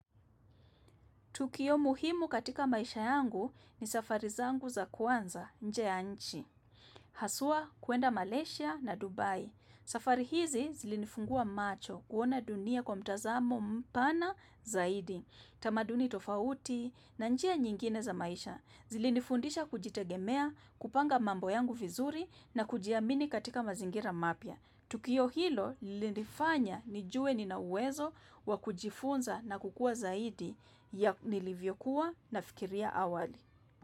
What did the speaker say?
Tukio muhimu katika maisha yangu ni safari zangu za kwanza nje ya nchi. Haswa kuenda Malaysia na Dubai. Safari hizi zilinifungua macho kuona dunia kwa mtazamo mpana zaidi. Tamaduni tofauti na njia nyingine za maisha. Zilinifundisha kujitegemea, kupanga mambo yangu vizuri na kujiamini katika mazingira mapya. Tukio hilo lilinifanya nijue nina uwezo wa kujifunza na kukua zaidi ya nilivyokuwa na fikiria awali.